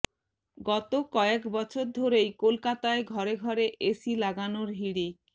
গত কয়েক বছর ধরেই কলকাতায় ঘরে ঘরে এসি লাগানোর হিড়িক